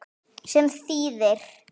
Sem þýðir